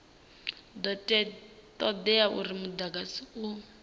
do todea uri mudagasi u